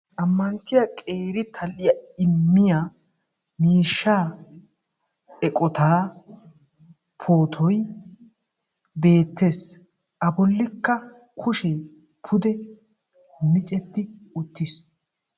Ammanttiya qeeri tal''iya immiya miishshaa eqqota pootoy beettees. A bollikka kushee pude miccetti uttiis.